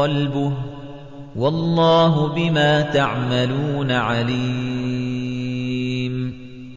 قَلْبُهُ ۗ وَاللَّهُ بِمَا تَعْمَلُونَ عَلِيمٌ